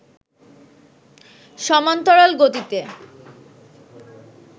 সমান্তরাল গতিতে